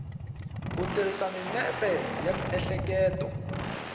ku tirhisa mimepe ya miehleketo